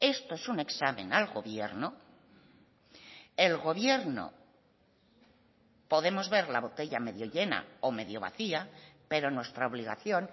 esto es un examen al gobierno el gobierno podemos ver la botella medio llena o medio vacía pero nuestra obligación